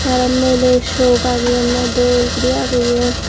te arow miler sok ageyonne dol guri ageyon.